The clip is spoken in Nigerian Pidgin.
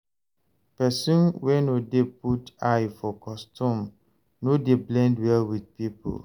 Pesin wey no dey put eye for custom no dey blend well with pipo